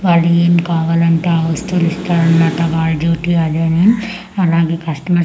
వాలు ఏం కావాలంటే ఆ వస్తువులు ఇస్తారు అన్నమాట వాలా డ్యూటీ అదేనే అలాగే కస్టమర్స్ ఎక్కు--